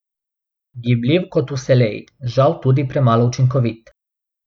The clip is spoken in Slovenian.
Gibljiv kot vselej, žal tudi premalo učinkovit.